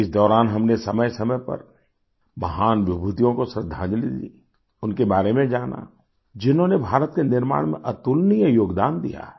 इस दौरान हमने समयसमय पर महान विभूतियों को श्रद्धांजलि दी उनके बारे में जाना जिन्होंने भारत के निर्माण में अतुलनीय योगदान दिया है